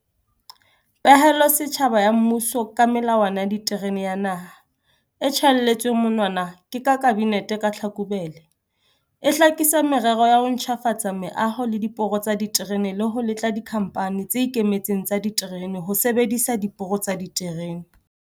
Pehelo setjhaba ya mmuso ka Melawana ya Diterene ya Naha, e tjhaelletsweng monwana ke Kabinete ka Tlhakubele, e hlakisa merero ya ho ntjhafatsa meaho le diporo tsa diterene le ho letla dikhamphani tse ikemetseng tsa diterene ho sebedisa diporo tsa diterene.